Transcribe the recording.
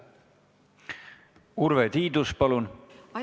Urve Tiidus, palun!